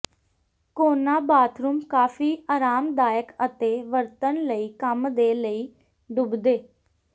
ਕੋਨਾ bathroom ਕਾਫ਼ੀ ਆਰਾਮਦਾਇਕ ਅਤੇ ਵਰਤਣ ਲਈ ਕੰਮ ਦੇ ਲਈ ਡੁੱਬਦੇ